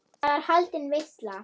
Þar er haldin veisla.